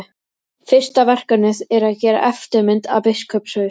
Fyrsta verkefnið er að gera eftirmynd af biskupshaus.